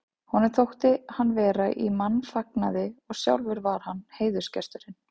Honum þótti hann vera í mannfagnaði og sjálfur var hann heiðursgesturinn.